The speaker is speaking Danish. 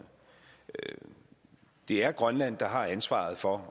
det er grønland der har ansvaret for